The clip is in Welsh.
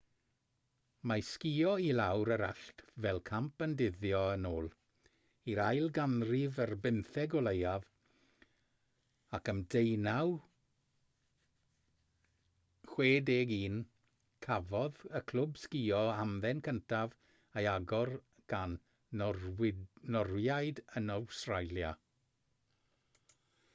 mae sgïo i lawr yr allt fel camp yn dyddio yn ôl i'r ail ganrif ar bymtheg o leiaf ac ym 1861 cafodd y clwb sgïo hamdden cyntaf ei agor gan norwyaid yn awstralia